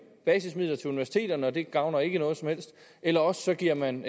basismidler til universiteterne og det gavner ikke noget som helst eller også giver man